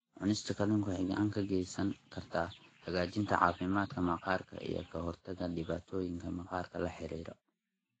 Cunista kalluunka waxay gacan ka geysan kartaa hagaajinta caafimaadka maqaarka iyo ka hortagga dhibaatooyinka maqaarka la xiriira.